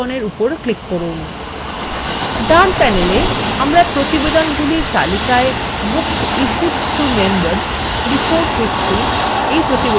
ডান panelwe আমরা প্রতিবেদনগুলির তালিকায় books issued to members: report history এই প্রতিবেদনটি দেখতে পাচ্ছি